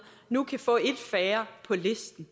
nu kan få et færre på listen